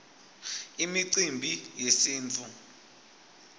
imicimbi yesintfu